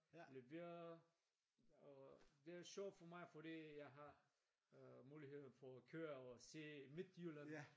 Leverer og det er sjovt for mig fordi jeg har muligheden for at køre og se Midtjylland